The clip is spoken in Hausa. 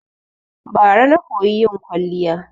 Bara na koyi yin kwaliya